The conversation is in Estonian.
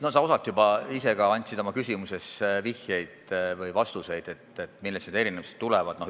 Sa ise osalt juba andsidki oma küsimuses vihjeid või vastuseid nende erinevuste kohta.